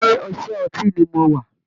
Ilé iṣẹ́ ọtí ni mo wà